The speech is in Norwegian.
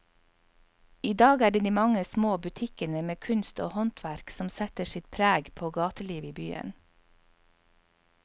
I dag er det de mange små butikkene med kunst og håndverk som setter sitt preg på gatelivet i byen.